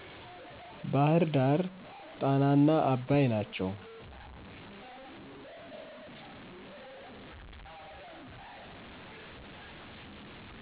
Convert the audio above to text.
ባህርዳር ጣናና አባይ ናቸው።